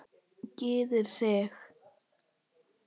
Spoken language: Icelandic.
Gyrðir sig.